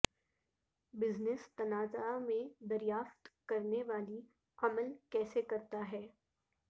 business تنازعہ میں دریافت کرنے والی عمل کیسے کرتا ہے